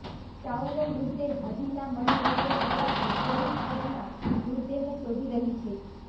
ચાઉનો મૃતદેહ હજી ના મળી રહ્યો હોવાથી પોલીસ તેમના મૃતદેહને શોધી રહી છે